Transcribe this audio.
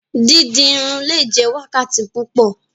Didi irun le jẹ wákàtí púpọ.